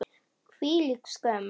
Hvílík skömm!